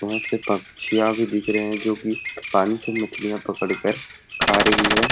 बहुत सी पंक्षियां भी दिख रहे है जो की पानी से मछलियां पकड़ कर खा रही है।